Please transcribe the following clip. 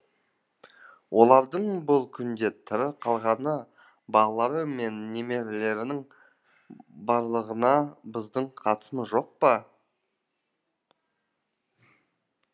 олардың бұл күнде тірі қалғаны балалары мен немерелерінің барлығына біздің қатысымыз жоқ па